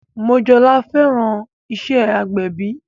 Mojola fẹ́ràn iṣẹ́ agbẹ̀bí